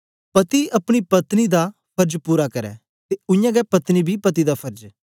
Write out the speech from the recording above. पति अपनी पत्नी दा फर्ज पूरा करै ते उयांगै पत्नी बी पति दा फर्ज